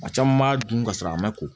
Maa caman b'a dun ka sɔrɔ a ma ko